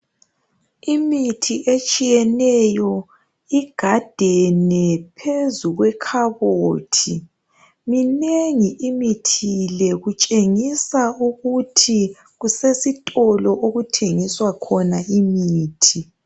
Imithi etshiyeneyo igadene phezu kwekhabothi minengi imithi le kutshengisa ukuthi kusesitolo okuthengiswa khona imithi